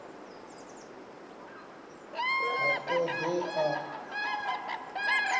ha thodea dzavho ho aluswa